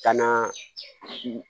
Ka na